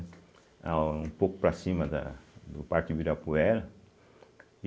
É um pouco para cima da do Parque Ibirapuera.